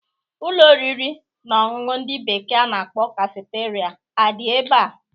Ụlọ oriri na ọṅụṅụ ndị bekee a na-akpọ kafeteria adị ebea?